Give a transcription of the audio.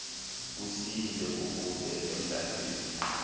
kusile kukude emdlantsimbi